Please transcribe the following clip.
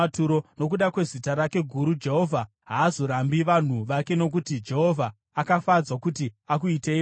Nokuda kwezita rake guru Jehovha haazorambi vanhu vake nokuti Jehovha akafadzwa kuti akuitei vake.